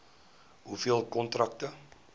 hoeveel kontrakte